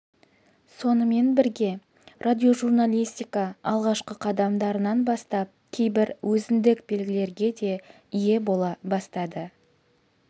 сонымен бірге радиожурналистика алғашқы қадамдарынан бастап кейбір өзіндік белгілерге де ие бола бастады